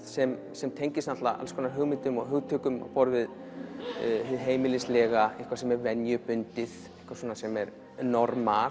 sem sem tengist alls konar hugmyndum og hugtökum á borð við hið heimilislega eitthvað sem er venjubundið eitthvað sem er normalt